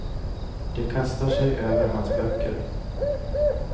De kastar sig över hans böcker.